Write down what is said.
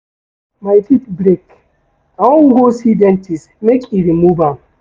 My teeth break, I wan go see dentist make e remove am.